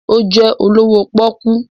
Ó jẹ́ olówó pọ́ọ́kú.